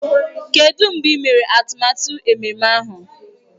Kedụ mgbe ị mere atụmatụ ememme ahụ?